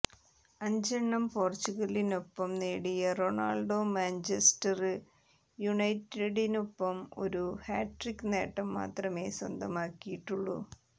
അഞ്ചെണ്ണം പോര്ച്ചുഗലിനൊപ്പം നേടിയ റൊണാള്ഡോ മാഞ്ചസ്റ്റര് യുണൈറ്റഡിനൊപ്പം ഒരു ഹാട്രിക്ക് നേട്ടം മാത്രമേ സ്വന്തമാക്കിയിട്ടുള്ളു